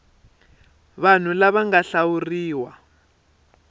vanhu lava va nga hlawuriwa